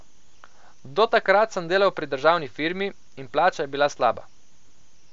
Do takrat sem delal pri državni firmi in plača je bila slaba.